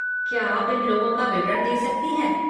क्या आप इन लोगों का विवरण दे सकती हैं?